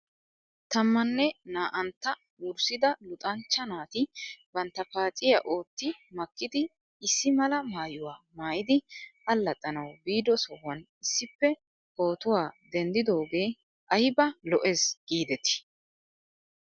Tammanne naa'antta wurssida luxanchcha naati bantta paacciyaa ootti makkidi issi mala maayuwaa maayidi allaxxanaw biido sohuwan issippe pootuwaa denddidoogee ayba lo'es giidetii